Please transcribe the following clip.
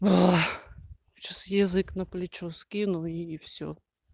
сейчас язык на плечо скину и всё